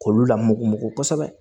K'olu lamugu mugugu kosɛbɛ